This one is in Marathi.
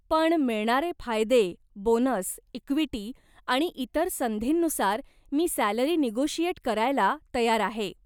पण मिळणारे फायदे, बोनस, इक्विटी आणि इतर संधींनुसार मी सॅलरी निगोशिएट करायला तयार आहे.